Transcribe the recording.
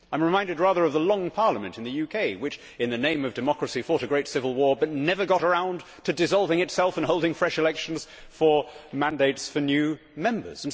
I am reminded rather of the Long Parliament in the UK, which in the name of democracy fought a great civil war, but never got around to dissolving itself and holding fresh elections for mandates for new Members.